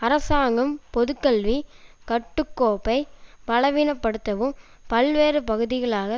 அரசாங்கம் பொதுக்கல்வி கட்டு கோப்பை பலவீன படுத்தவும் பல்வேறு பகுதிகளாக